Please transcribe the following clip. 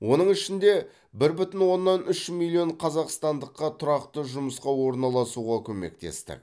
оның ішінде бір бүтін оннан үш миллион қазақстандыққа тұрақты жұмысқа орналасуға көмектестік